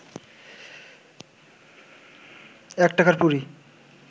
এক টাকার পুরি